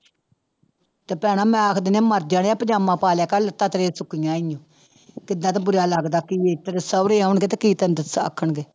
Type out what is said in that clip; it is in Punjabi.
ਤੇ ਭੈਣਾਂ ਮੈਂ ਆਖ ਦਿਨੀ ਆਂ ਮਰ ਜਾਣਿਆਂ ਪੰਜਾਮਾ ਪਾ ਲਿਆ ਕਰ ਲੱਤਾਂ ਤੇਰੀਆਂ ਸੁੱਕੀਆਂ ਹੀ ਆਂ ਏਦਾਂ ਤਾਂ ਬੁਰਾ ਲੱਗਦਾ ਕਿਵੇਂ ਤੇਰੇ ਸਾਹੁਰੇ ਆਉਣਗੇ ਤੇ ਕੀ ਤੈਨੂੰ ਦੱਸ ਆਖਣਗੇ